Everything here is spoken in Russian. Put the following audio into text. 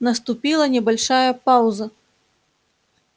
наступила небольшая пауза